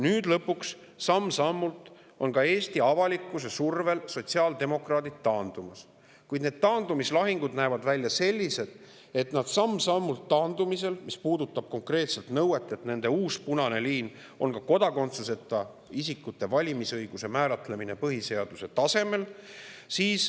Nüüd lõpuks on sotsiaaldemokraadid ka Eesti avalikkuse survel samm-sammult taandumas, kuid see taandumislahing näeb välja selline, mis puudutab konkreetset nõuet, et nende uus punane liin on kodakondsuseta isikute valimisõiguse määratlemine põhiseaduse tasemel.